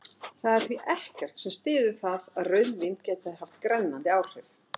Það er því ekkert sem styður það að rauðvín geti haft grennandi áhrif.